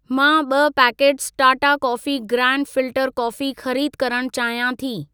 मां ॿ packet Tata coffee grand filter coffee खरीद करण चाहियां थी।